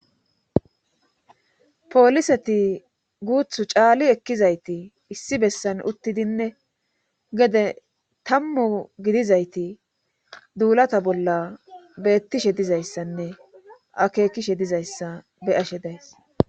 pooliseti guuthu caali ekkizayti issi bessan uttidinne gede tammu gidizayti duulata bolla beettishe dizayssanne akeekishe dizayssa be ashe daysi.